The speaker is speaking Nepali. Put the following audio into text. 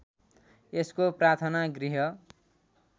यसको प्रार्थना गृह